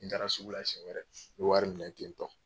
N taara sugula seɲɛ wɛrɛ n bɛ wari minɛ tentɔ.